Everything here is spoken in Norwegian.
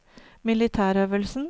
militærøvelsen